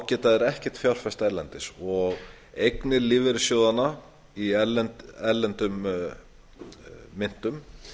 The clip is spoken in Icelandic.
geta þeir ekkert fjárfest erlendis og eignir lífeyrissjóðanna í erlendum myntum